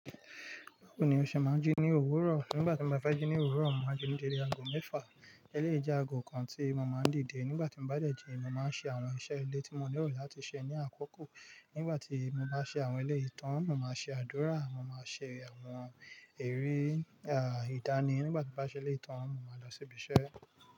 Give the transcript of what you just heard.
Báwo ni o sẹ̀ máa ń jí ní òwúrọ̀? Nígbà tí mo bá fẹ́ jí ní òwúrọ̀, mo màá jí ní dede ago mẹ́fà. Eléyìí jẹ́ ago kan tí mo máa ń dìde. Nígbà tí mo bá dẹ̀ jí, mo máa ṣe àwọn iṣẹ́ ilé tí mo ni ero láti ṣe ní àkókò. Nígbà tí mo bá ṣe àwọn eleyii tán, mo màá ṣe àdúrà, mo màá ṣe àwọn ère, ìdáni. Nígbà tí mo bá ṣe eléyii tán, mo máa lọ sí ibi iṣẹ́.